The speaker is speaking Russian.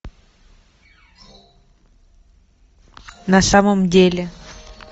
на самом деле